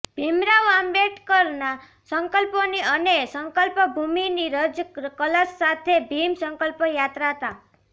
ભીમરાવ આંબેડકરના સંકલ્પોની અને સંકલ્પ ભૂમિની રજ કલશ સાથે ભીમ સંકલ્પ યાત્રા તા